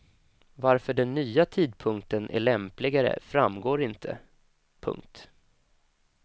Varför den nya tidpunkten är lämpligare framgår inte. punkt